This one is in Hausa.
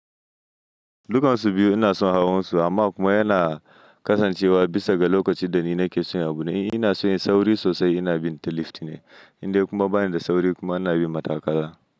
Dukansu biyu ina son hawan su amma kuma yana kasancewa bisa ga lokaci da ni na ke so yin abu. Ina son yin sauri sosai, ina bin tilti ne inda kuma bani da sauri kuma ina bin matakala.